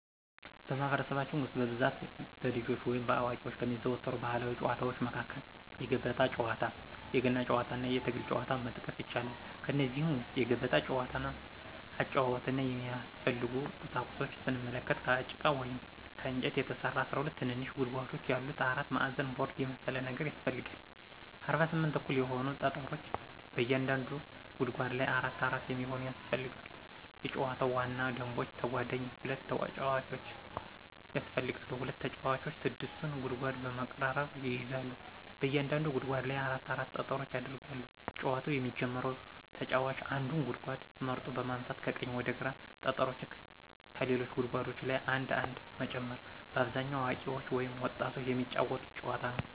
በማህበረሰባችን ውስጥ በብዛት በልጆች ወይም በአዋቂዎች ከሚዘወተሩ ባህላዊ ጨዋታዎች መካከል የገበጣ ጨዋታ፣ የገና ጨዋታና የትግል ጨዋታን መጥቀስ ይቻላል። ከእነዚህም ውስጥ የገበጣ ጨዋታን አጨዋወትና የሚያስፈልጉ ቁሳቁሶችን ስንመለከት፦ ከጭቃ ወይም ከእንጨት የተሰራ 12 ትንንሽ ጉድጓዶች ያሉት አራት ማዕዘን ቦርድ የመሰለ ነገር ያሰፈልጋል፣ 48 እኩል የሆኑ ጠጠሮች በእያንዳንዱ ጉድጓድ ላይ አራት አራት የሚሆኑ ያስፈልጋሉ የጨዋታው ዋና ደንቦች ተጓዳኝ ሁለት ተጫዋቾች ያስፈልጋሉ፣ ሁለት ተጫዋቾች 6ቱን ጉድጓድ በመቀራረብ ይይዛሉ፣ በእያንዳንዱ ጉድጓድ ላይ አራት አራት ጠጠሮች ይደረጋሉ፣ ጨዋታውን የሚጀመረው ተጫዋች አንዱን ጉድጓድ መርጦ በማንሳት ከቀኝ ወደ ግራ ጠጠሮችን ከሌሎች ጉድጓዶች ላይ አንድ አንድ መጨመር። በአብዛኛው አዋቂዎች ወይም ወጣቶች የሚጫወቱት ጨዋታ ነዉ።